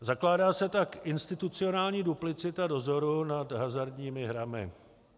Zakládá se tak institucionální duplicita dozoru nad hazardními hrami.